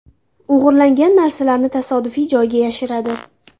O‘g‘irlangan narsalarni tasodifiy joyga yashiradi.